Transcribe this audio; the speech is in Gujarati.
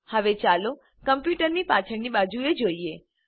હવે ચાલો કમ્પ્યુટરની પાછળની બાજુએ જોઈએ